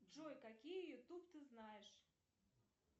джой какие ютуб ты знаешь